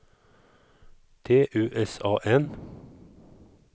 T U S A N